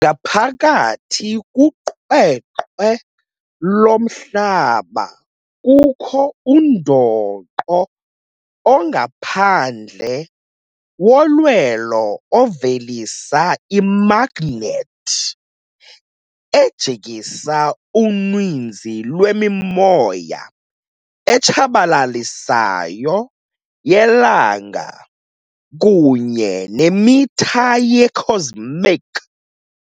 Ngaphakathi kuqweqwe loMhlaba kukho undoqo ongaphandle wolwelo ovelisa imagnethi, ejikisa uninzi lwemimoya etshabalalisayo yelanga kunye nemitha ye-cosmic.